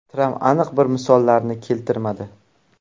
Tramp aniq bir misollarni keltirmadi.